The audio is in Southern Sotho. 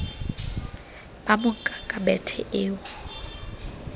ba monka ka bethe eo